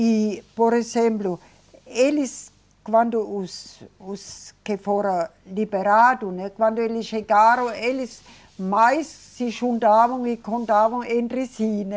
E, por exemplo, eles, quando os, os que foram liberados, né, quando eles chegaram, eles mais se juntavam e contavam entre si, né.